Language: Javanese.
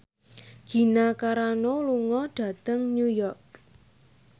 Gina Carano lunga dhateng New York